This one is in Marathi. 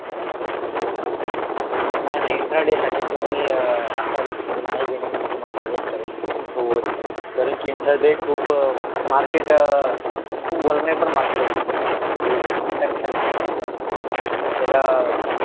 नाही नाही इंट्राडे साठी तुम्ही अह असा मी रिस्क मी नाही घेणे मी तुम्हाला सजेस्ट करेल कारण की इंट्राडे खूप अह मार्केट अह खूप होल नेबर बर मार्केट असते ते तीन मिनिटा मिनिटाला चेंज होत आणि त्याला अह